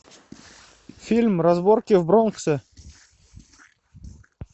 фильм разборки в бронксе